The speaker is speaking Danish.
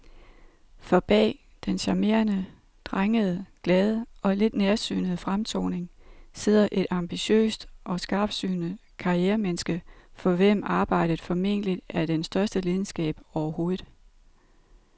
For bag den charmerende, drengede, glade og lidt nærsynede fremtoning sidder et ambitiøst og skarpsynet karrieremenneske, for hvem arbejdet formentlig er den største lidenskab overhovedet.